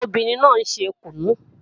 Obìnrin náà ń ṣe kùnú